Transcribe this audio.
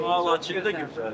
Həmçinin çox gözəldir.